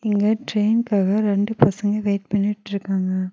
இங்க ட்ரெயின்காக ரெண்டு பசங்க வெயிட் பண்ணிட்ருக்காங்க.